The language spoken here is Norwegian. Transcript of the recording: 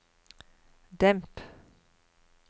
demp